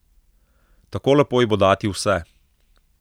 Tako lepo ji bo dati vse.